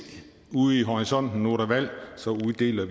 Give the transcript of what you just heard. ude i horisonten at nu er der valg så uddeler